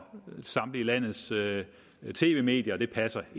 samtlige landets tv medier ikke passer